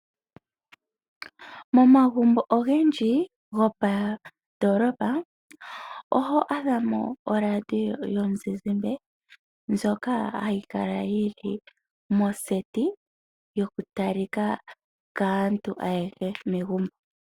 Momagumbo ogendji gomoondoolopa, oho adha mo oradio yomuzizimba ndjoka hayi kala yi li moseti, yokutalwa kaanegumbo ayehe.